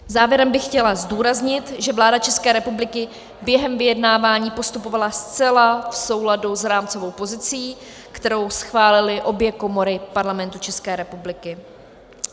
Závěrem bych chtěla zdůraznit, že vláda České republiky během vyjednávání postupovala zcela v souladu s rámcovou pozicí, kterou schválily obě komory Parlamentu České republiky.